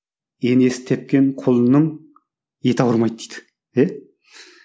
енесі тепкен құлынның еті ауырмайды дейді иә